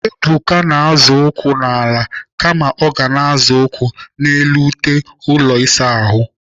Ebuka na-azọ ụkwụ n'ala kama ọ ga-azọ ya n'elu ute ụlọ ịsa ahụ.